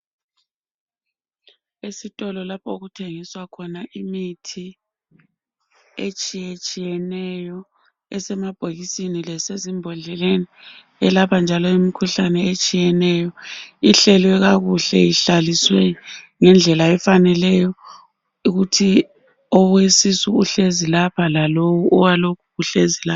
Esitolo lapho okuthengiswa khona imithi etshiye tshiyeneyo esemabhokisini lasezimbodleleni elapha njalo imikhuhlane etshiyeneyo ihlelwe kakuhle ihlaliswe ngendlela efaneleyo ukuthi owesisu uhlezi lapha lalowu owalokhu uhlezi la.